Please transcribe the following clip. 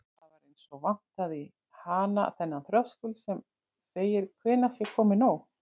Það var eins og vantaði í hana þennan þröskuld sem segir hvenær sé komið nóg.